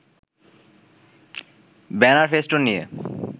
banner-festoon নিয়ে